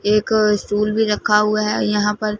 एक स्टुल भी रखा हुआ है यहां पर--